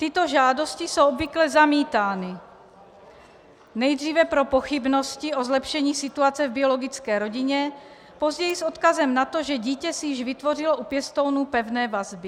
Tyto žádosti jsou obvykle zamítány nejdříve pro pochybnosti o zlepšení situace v biologické rodině, později s odkazem na to, že dítě si již vytvořilo u pěstounů pevné vazby.